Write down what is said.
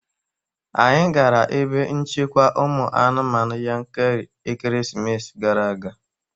Anyị gara ebe nchekwa ụmụ anụmanụ Yankari ekeresimesi gara aga